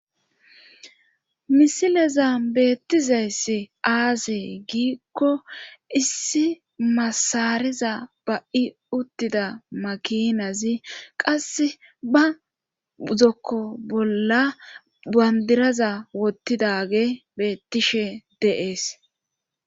Misileza beettizayssi aasee giikko issi masariza ba7i uttida makinazi qasse ba uzokko bolla bandiraza wottidage beettishe deees.